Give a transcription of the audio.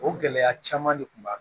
O gɛlɛya caman de tun b'a la